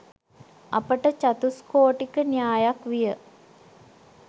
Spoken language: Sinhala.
අපට චතුස්කෝටික න්‍යායක් විය